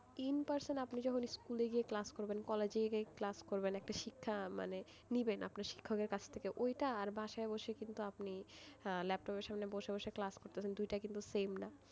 in person যখন আপনি school গিয়ে class করবেন বা কলেজে গিয়ে class করবেন একটা শিক্ষা মানে নেবেন শিক্ষকের কাছ থেকে ওইটা আর বাসায় বসে কিন্তু আপনি ল্যাপটপের সামনে বসে বসে class করতে দুইটা কিন্তু same না,